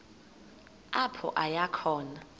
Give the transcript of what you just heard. apho aya khona